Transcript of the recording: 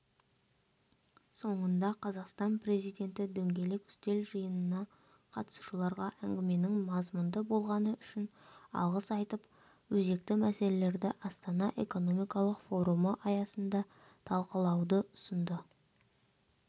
соңында қазақстан президенті дөңгелек үстел жиынына қатысушыларға әңгіменің мазмұнды болғаны үшін алғыс айтып өзекті мәселелерді астана экономикалық форумы аясында талқылауды ұсынды